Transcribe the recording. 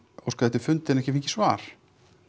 óskað eftir fundi en ekki fengi svar